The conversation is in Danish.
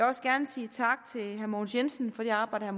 også gerne sige tak til herre mogens jensen for det arbejde